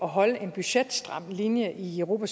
holde en budgetstram linje i europa